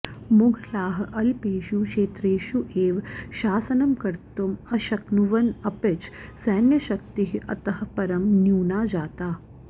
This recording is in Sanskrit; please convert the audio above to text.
मुघलाः अल्पेषु क्षेत्रेषु एव शासनम् कर्तुम् अशक्नुवन् अपिच सैन्यशक्तिः अतः परम् न्यूना जाता